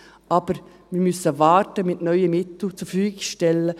Aber wir müssen mit dem Zurverfügungstellen neuer Mittel warten.